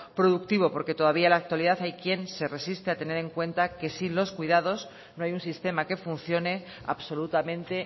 productivo porque todavía en la actualidad hay quien se resiste a tener en cuenta que sin los cuidados no hay un sistema que funcione absolutamente